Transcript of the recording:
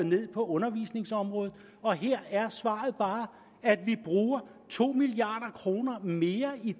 ned på undervisningsområdet og her er svaret bare at vi bruger to milliard kroner mere i